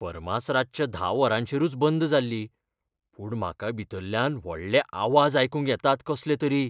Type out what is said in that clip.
फार्मास रातच्या धा वरांचेरूच बंद जाल्ली, पूण म्हाका भितरल्यान व्हडले आवाज आयकूंक येतात कसलेतरी.